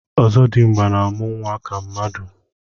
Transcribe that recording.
ọzọdimgba na-amụ nwa ka mmadụ.